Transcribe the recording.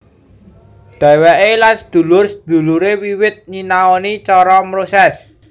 Dheweke lan sedulur sedulure wiwit nyinaoni cara mroses